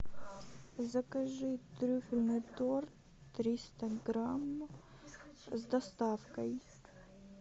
закажи трюфельный торт триста грамм с доставкой